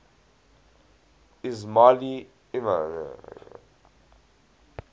ismaili imams